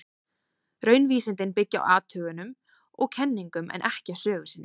Raunvísindin byggja á athugunum og kenningum, en ekki á sögu sinni.